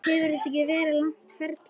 Hefur þetta ekki verið langt ferli?